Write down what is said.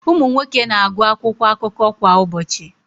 Ụmụ nwoke na-agụ akwụkwọ akụkọ kwa ụbọchị.